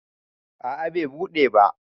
a a Bai buɗe ba